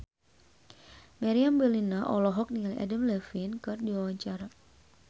Meriam Bellina olohok ningali Adam Levine keur diwawancara